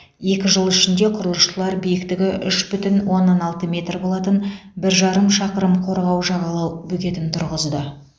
екі жыл ішінде құрылысшылар биіктігі үш бүтін оннан алты метр болатын бір жарым шақырым қорғау жағалау бөгетін тұрғызды